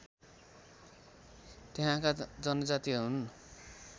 त्यहाँका जनजाति हुन्